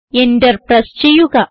enter press ചെയ്യുക